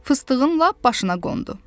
Fıstığın lap başına qondu.